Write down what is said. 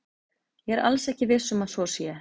Ég er alls ekki viss um að svo sé.